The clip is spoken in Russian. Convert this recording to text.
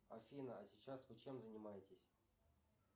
афина а сейчас вы чем занимаетесь